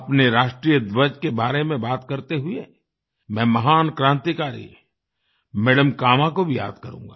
अपने राष्ट्रीय ध्वज के बारे में बात करते हुए मैं महान क्रांतिकारी मदम कामा को भी याद करूँगा